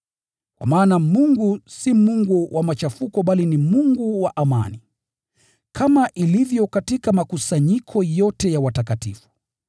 Kwa maana Mungu si Mungu wa machafuko bali ni Mungu wa amani. Kama ilivyo katika makusanyiko yote ya watakatifu,